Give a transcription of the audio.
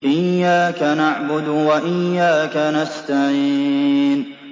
إِيَّاكَ نَعْبُدُ وَإِيَّاكَ نَسْتَعِينُ